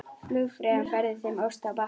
Flugfreyjan færði þeim ost á bakka.